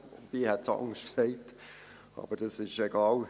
Ich hätte es anders gesagt, aber das ist egal.